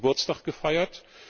20. Geburtstag gefeiert.